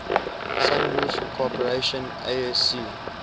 sunroof corporation asc